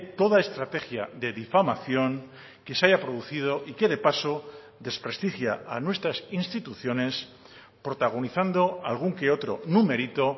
toda estrategia de difamación que se haya producido y que de paso desprestigia a nuestras instituciones protagonizando algún que otro numerito